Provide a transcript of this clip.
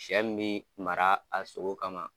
Sɛ min bɛ mara a sogo kama.